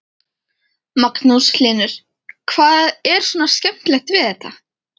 Magnús Hlynur: Hvað er svona skemmtilegt við þetta?